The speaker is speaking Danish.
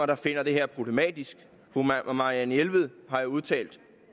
der finder det her problematisk fru marianne jelved har jo udtalt